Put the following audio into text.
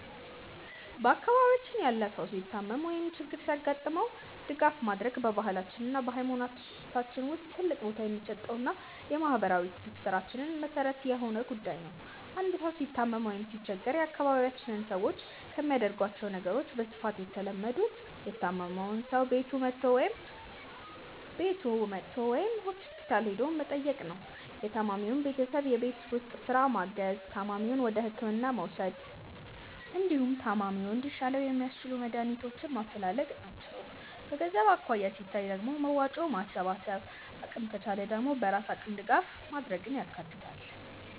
በአካባቢያችን ያለ ሰው ሲታመም ወይም ችግር ሲገጥመው ድጋፍ ማድረግ በባህላችን እና በሃይማኖታችን ውስጥ ትልቅ ቦታ የሚሰጠውና የማህበራዊ ትስስራችን መሰረት የሆነ ጉዳይ ነው። አንድ ሰው ሲታመም ወይም ሲቸገር የአካባቢያችን ሰዎች ከሚያደርጓቸው ነገሮች በስፋት የተለመዱት:- የታመመውን ሰው ቤቱ መጥቶ ወይም ሆስፒታል ሄዶ መጠየቅ፣ የታማሚውን ቤተሰብ የቤት ውስጥ ስራ ማገዝ፣ ታማሚውን ወደህክምና መውሰድ፣ እንዲሁም ታማሚው እንዲሻለው የሚያስችሉ መድሃኒቶችን ማፈላለግ ናቸው። በገንዘብ አኳያ ሲታይ ደግሞ መዋጮ ማሰባሰብን፣ አቅም ከቻለ ደግሞ በራስ አቅም ድጋፍ ማድረግን ያካትታል።